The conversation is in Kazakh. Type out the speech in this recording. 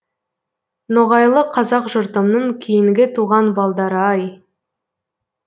ноғайлы қазақ жұртымның кейінгі туған балдары ай